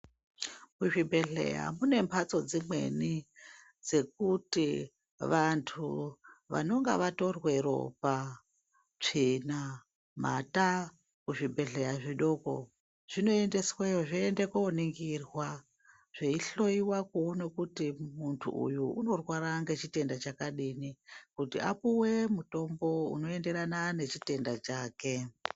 Kuzvibhehlera kune mbatso dzemene dzekuti vantu vanenge vatorwa ropa ,tsvina ,mata muzvibhehleya zvidoko zvinoendeswa yo zvoenda kunoningirwa zveihloiwa kuti muntu uyu unorwara nechitenda chakadini kuti apuwe mutombo unoenderana nechitenda chake.